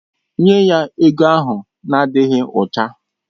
Nye ya ego ahụ na-adịghị ọcha!